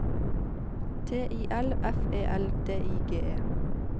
T I L F E L D I G E